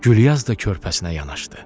Gülyaz da körpəsinə yanaşdı.